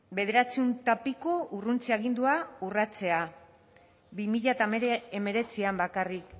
bederatziehun eta piko urruntze agindua urratzea bi mila hemeretzian bakarrik